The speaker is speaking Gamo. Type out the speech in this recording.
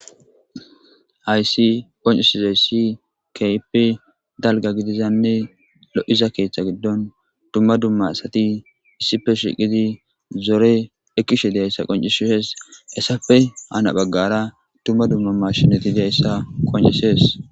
Haysi qonccisizayssi kehippe dalgga giididanne lo'iiza keththa giidon dumma dumma assati issippe shiqqidi zoore ekkishe diizayssa qonccisses hessappe haani baggara dumma dumma mashshiney diizayssa qonccisses.